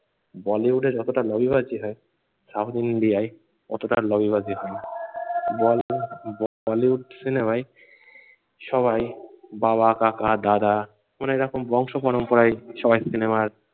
বলিউডে যতটা লবিবাজি হয় সাউথ ইন্ডিয়ায় ততটা লবিবাজি হয় না। বলিউড বলিউড সিনেমায় সবাই বাবা কাকা দাদা অনেক রকম বংশ পরম্পরায় সবাই সিনেমায়